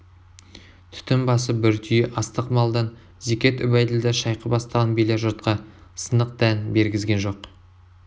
түтін басы бір түйе астық малдан зекет үбәйділда шайқы бастаған билер жұртқа сынық дән бергізген жоқ